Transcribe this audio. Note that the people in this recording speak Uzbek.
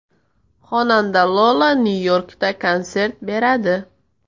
Xonanda Lola Nyu-Yorkda konsert beradi.